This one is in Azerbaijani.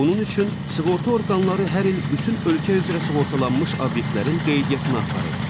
Bunun üçün sığorta orqanları hər il bütün ölkə üzrə sığortalanmış obyektlərin qeydiyyatına aparır.